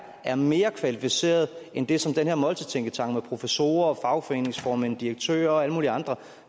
er mere kvalificeret end det som den her måltidstænketank med professorer fagforeningsformænd direktører og alle mulige andre